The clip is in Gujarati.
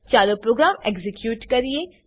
ચાલો પ્રોગ્રામ એક્ઝીક્યુટ કરીએ